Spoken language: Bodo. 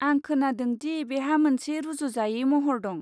आं खोनादों दि बेहा मोनसे रुजुजायै महर दं।